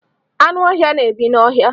Anụ ọhịa na-ebi n'ọhịa.